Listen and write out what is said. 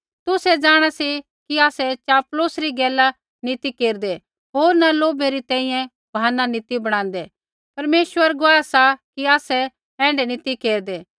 तुसै जाँणा सी कि आसै चापलूसी री गैला नी ती केरदै होर न लोभै री तैंईंयैं बहाना नी ती बणादै परमेश्वर गुआह सा कि आसै एण्ढै नी ती केरदै